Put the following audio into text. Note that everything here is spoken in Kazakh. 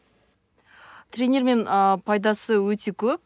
тренермен ыыы пайдасы өте көп